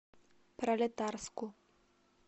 пролетарску